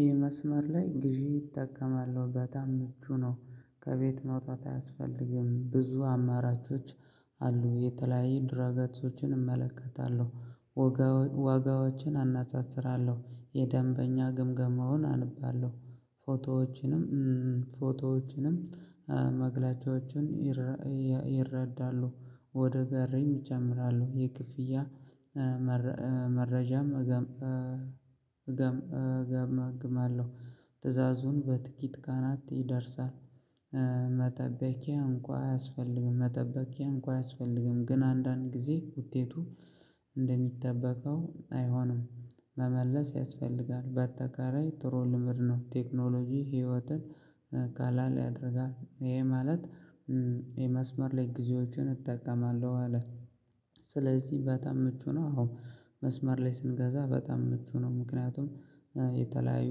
ይህ መስመር ላይ ግዢ እጠቀማለሁ በጣም ምቹ ነው። ከቤት መውጣት አያስፈልግም ብዙ አማራቿች። አሉ የተለያየ ድራ ገጾችን እመለከታለሁ። ዋጋዎችን አነጻጽራለሁ የደንበኛ ግምገማውን አንብባለሁ ፎቶዎችንም ፎቶዎችንም መግለጫዎችን ይረዳሉ። ወደ ጋሬም እጨምራለሁ የክፍያ መረጃም እገም እገም እገም እገመግም አለሁ። ትዕዛዙን በጥቂት ቀናት ይደርሳል። መጠበቂያ እንኳ አያስፈልግም መጠበቂያ እንኳ አያስፈልግም። ግን አንዳንድ ጊዜ ውጤቱ እንደሚጠበቀው አይሆንም። መመለስ ያስፈልጋል በአጠቃላይ ጥሩ ልምድ ነው። ቴክኖሎጂ ህይወትን ቀለል ያደርጋል። እሄ ማለት የመስመር ላይ ግዜዎችን እጠቀማለሁ አለ። ስለዚህ በጣም ምቹ ነው። አዎ መስመር ላይ ስንገዛ በጣም ምቹ ነው። ምክንያቱም የተለያዩ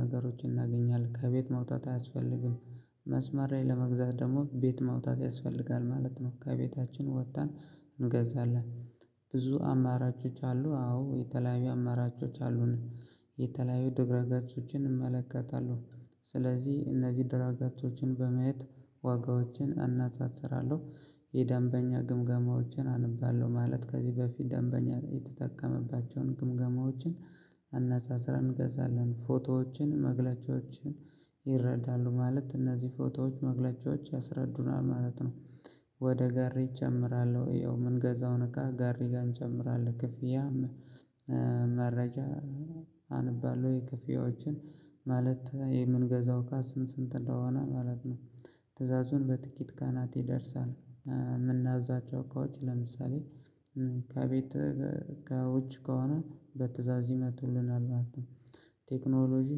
ነገሮችን እናገኛለን ከቤት መውጣት አያስፈልግም። መስመር ላይ ለመግዛት ደግሞ ቤት መውጣት ያስፈልጋል ማለት ነው። ከቤታችን ወተን እንገዛለን። ብዙ አማራጮች አሉ አዎ የተለያዩ አማራጮች አሉን። የተለያዩ ድረ ገጾችን እመለከታለሁ። ስለዚህ እነዚህ ድረ ገጾችን በማየት ዋጋዎችን እናጻጽራለሁ። የደንበኛ ግምገማዎችን አነባለሁ ማለት ከዚህ በፊት ደንበኛ የተጠቀመባቸውን ግምገማዎችን። አነጻጽረን እንገዛለን። ፎቶዎችን መግለጫዎችን ይረዳሉ ማለት እነዚህ ፎቶዎች መግለጫዎች ያስረዱናል ማለት ነው። ወደ ጋሬ እጨምራል ያው ምንገዛውን እቃ ጋሬ ጋር እንጨምራለን። ክፍያም መረጃ አንባለሁ። ወይ ክፍያዎችን ማለት የምንገዛው እቃ ስንት ስንት እንደሆነ ማለት ነው። ትዕዛዙን በጥቂት ቀናት ይደርሳል። ምናዛቸው እቃዎች ለምሳሌ ከቤት ከውጭ ከሆነ በትእዛዝ ይመጡልናል ማለት ነው። ቴክኖሎጂ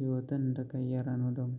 ህይወትን እንደቀየረ ነው ደግሞ